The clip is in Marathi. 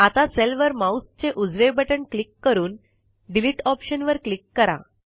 आता सेलवर माऊसचे उजवे बटण क्लिक करून डिलीट ऑप्शनवर क्लिक करा